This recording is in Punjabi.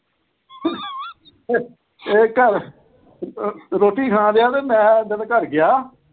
ਇਹ ਘਰ, ਰੋਟੀ ਖਾਨਦਿਆ ਤੇ ਮੈਂ ਉਦਨ ਘਰ ਗਿਆ।